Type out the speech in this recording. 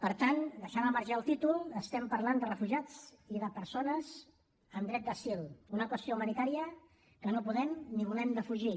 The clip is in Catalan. per tant deixant al marge el títol parlem de refugiats i de persones amb dret d’asil una qüestió humanitària que no podem ni volem defugir